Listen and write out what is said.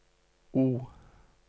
O